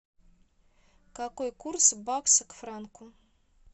какой курс бакса к франку